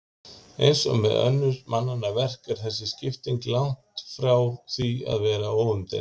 Eins og með önnur mannanna verk er þessi skipting langt frá því að vera óumdeild.